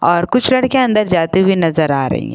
और कुछ लड़कियां अंदर जाते हुए नजर आ रही है।